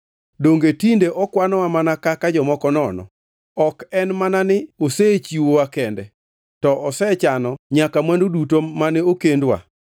Donge tinde okwanowa mana kaka jomoko nono? Ok en mana ni osechiwowa kende, to osechano nyaka mwandu duto mane okendwa.